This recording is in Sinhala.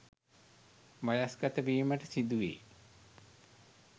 වයස්ගත වීමට සිදුවේ.